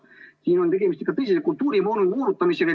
Siin on tegemist ikka tõsise kultuuri moonutamisega.